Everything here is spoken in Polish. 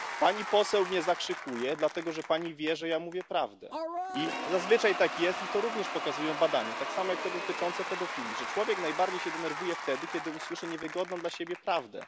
Pani poseł mnie zakrzykuje, dlatego że pani wie, że ja mówię prawdę, i zazwyczaj tak jest i to również pokazują badania, tak samo jak te dotyczące pedofilii że człowiek najbardziej się denerwuje wtedy, kiedy usłyszy niewygodną dla siebie prawdę.